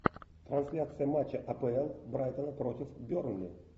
трансляция матча апл брайтона против бернли